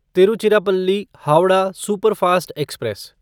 Tiruchirappalli Howrah superfast express